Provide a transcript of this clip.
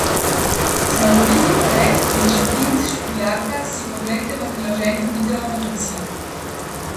Zmagoviti pobeg in šprint Špilaka si poglejte v priloženi videonovici!